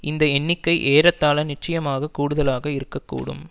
இந்த எண்ணிக்கை ஏறத்தாழ நிச்சயமாக கூடுதலாக இருக்க கூடும்